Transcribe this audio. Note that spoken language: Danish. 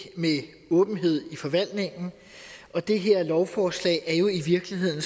med åbenhed i forvaltningen og det her lovforslag er jo i virkeligheden